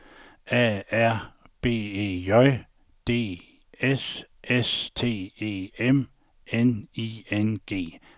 A R B E J D S S T E M N I N G